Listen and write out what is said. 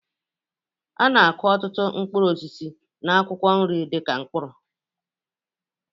A na-akụ ọtụtụ mkpụrụ osisi na akwụkwọ nri dị ka mkpụrụ